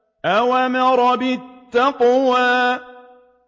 أَوْ أَمَرَ بِالتَّقْوَىٰ